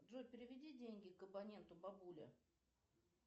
джой переведи деньги к абоненту бабуля